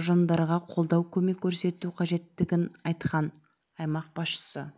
ұжымдарғақолдау көмек көрсету қажеттігін айтқан аймақ басшысы